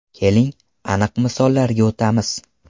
Keling, aniq misollarga o‘tamiz.